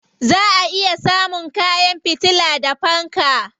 Za a iya samun kwan fitila da fanka.